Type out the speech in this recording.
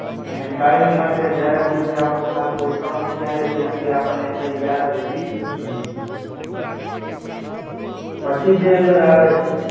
અને કાયમ માટે જ્યાં હુધી આપણું ખાતું account ચાલે ત્યાં સુધી આપણ ને સહી યાદ રહેવી જોઈએ. પછી જે અંદર આવે છે.